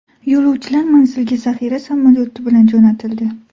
Yo‘lovchilar manzilga zaxira samolyoti bilan jo‘natildi.